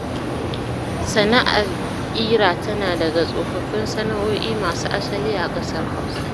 Sana'ar ƙira tana daga tsofaffin sana'o'i masu asali a ƙasar Hausa